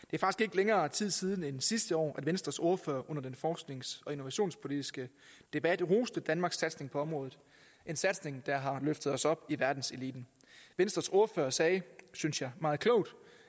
længere tid siden end sidste år at venstres ordfører under den forsknings og innovationspolitiske debat roste danmarks satsning på området en satsning der har løftet os op i verdenseliten venstres ordfører sagde synes jeg meget klogt